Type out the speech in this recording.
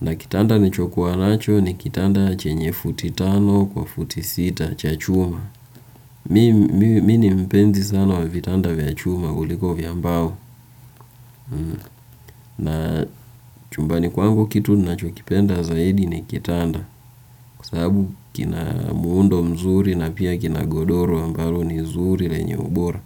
na kitanda nilichokuwa nacho ni kitanda chenye futi tano kwa futi sita cha chuma. Mi ni mpenzi sana wa vitanda vya chuma kuliko vya mbao na chumbani kwangu kitu ninachokipenda zaidi ni kitanda kwa sababu kina muundo mzuri na pia kina godoro ambalo ni zuri lenye ubora.